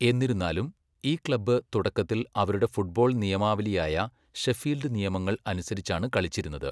എന്നിരുന്നാലും, ഈ ക്ലബ്ബ് തുടക്കത്തിൽ അവരുടെ ഫുട്ബോൾ നിയമാവലിയായ 'ഷെഫീൽഡ് നിയമങ്ങൾ' അനുസരിച്ചാണ് കളിച്ചിരുന്നത്.